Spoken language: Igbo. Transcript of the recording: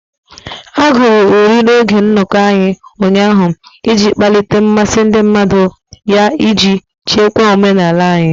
A agụrụ uri n'oge nnọkọ anyị ụnyaahụ iji kpalite mmasị ndị mmadụ ya iji chekwa omenala anyị.